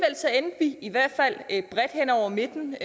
i hvert fald bredt hen over midten